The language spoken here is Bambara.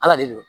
Ala de do